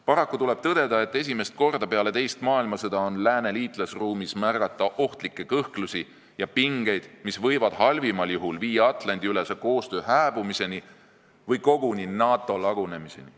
Paraku tuleb tõdeda, et esimest korda peale teist maailmasõda on lääne liitlasruumis märgata ohtlikke kõhklusi ja pingeid, mis võivad halvimal juhul viia Atlandi-ülese koostöö hääbumiseni või koguni NATO lagunemiseni.